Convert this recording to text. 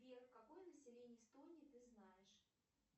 сбер какое население эстонии ты знаешь